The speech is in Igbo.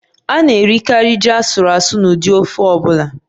A na-erikarị ji asuru asu na ụdị ofe ọ bụla